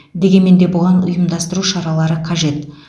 дегенмен де бұған ұйымдастыру шаралары қажет